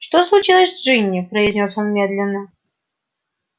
что случилось с джинни произнёс он медленно